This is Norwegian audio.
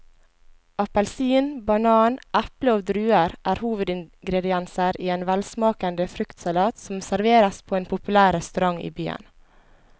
Appelsin, banan, eple og druer er hovedingredienser i en velsmakende fruktsalat som serveres på en populær restaurant i byen.